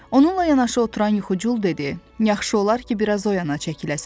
Onunla yanaşı oturan Yuxucul dedi: yaxşı olar ki, biraz oyana çəkiləsən.